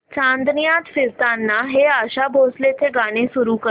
चांदण्यात फिरताना हे आशा भोसलेंचे गाणे सुरू कर